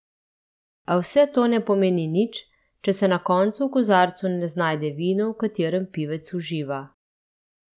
A vse to ne pomeni nič, če se na koncu v kozarcu ne znajde vino, v katerem pivec uživa.